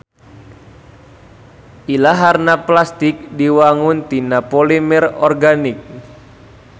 Ilaharna plastik diwangun tina polimer organik.